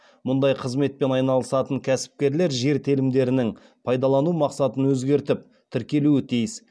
мұндай қызметпен айналысатын кәсіпкерлер жер телімдерінің пайдалану мақсатын өзгертіп тіркелуі тиіс